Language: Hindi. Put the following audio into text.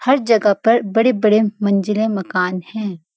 हर जगह पर बड़े-बड़े मंजिला मकान है।